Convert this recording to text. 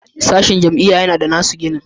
Sashen a jami'a yana da nasu ginin